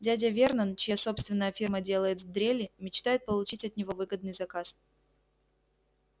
дядя вернон чья собственная фирма делает дрели мечтает получить от него выгодный заказ